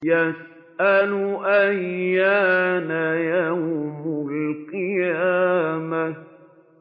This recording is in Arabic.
يَسْأَلُ أَيَّانَ يَوْمُ الْقِيَامَةِ